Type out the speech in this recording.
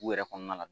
U yɛrɛ kɔnɔna la